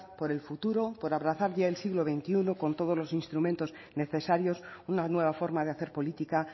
por el futuro por abrazar ya el siglo veintiuno con todos los instrumentos necesarios una nueva forma de hacer política